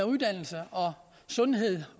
uddannelse og sundhed